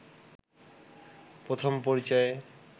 প্রথম পরিচয়ে